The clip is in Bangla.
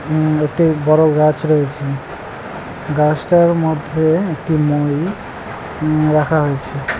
ইম একটি বড় গাছ রয়েছে গাছটার মধ্যে একটি মই ইম রাখা হয়েছে।